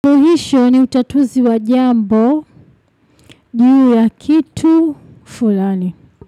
Suluhisho ni utatuzi wa jambo juu ya kitu fulani.